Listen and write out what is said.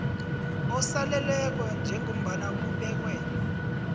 osaleleko njengombana kubekwe